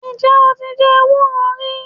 Ǹ jé o ti je ewúro rí